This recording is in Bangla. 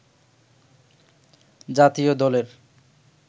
জাতীয় দলের